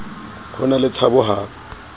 ho na le tshabo ha